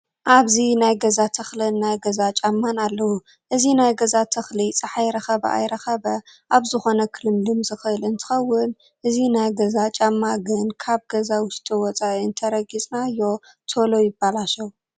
ኣብዚ ናይ ገዛን ተክሊን ናይ ገዛ ጫማን ኣለው እዚ ናይ ገዛ ተክሊ ፀሓይ ረከበ ኣይረከበ ኣብ ዝኮነ ክልምልም ዝክእል እንትከውን እዚ ናይ ገዛ ጫማ ግና ካብ ገዛ ውሽጢ ወፃኢ እንትረጊፅናዮ ተሎ ይባለሸው።